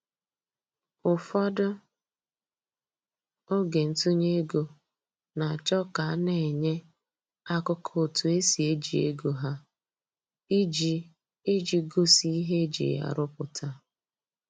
Ụfọdụ oge ntụnye ego na-achọ ka a na-enye akụkọ otu esi eji ego ha, iji iji gosi ihe eji ya rụpụta